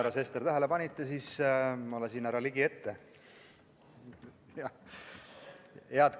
Kui te, härra Sester, tähele panite, siis ma lasin härra Ligi ette.